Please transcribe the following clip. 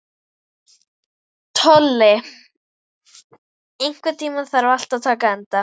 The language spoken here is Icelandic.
Tolli, einhvern tímann þarf allt að taka enda.